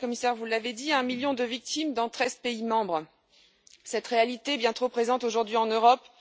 Madame la Commissaire, vous l'avez dit, un million de victimes dans treize pays membres. Cette réalité est bien trop présente aujourd'hui en Europe.